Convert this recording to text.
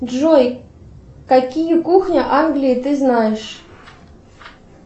джой какие кухни англии ты знаешь